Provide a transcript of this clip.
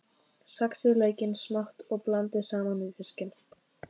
Saxið laukinn smátt og blandið saman við fiskinn.